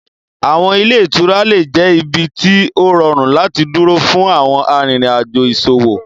Awọn ile-itura le jẹ ibi ti o rọrun lati duro fun awọn arinrin ajo iṣowo.